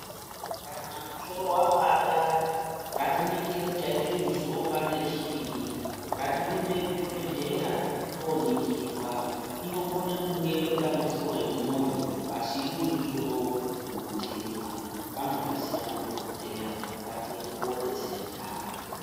Kana musoro wapanda ngatiningire kuti chaite kuti musoro upande chiinyi. Ngatirumbe kuzvibhedhlera tooningirwa. Inokone kunge ritori dambudziko remwoyo, asi uri musoro unotema. Vanozviziya madhokodheya, ngatiende koodetsereka.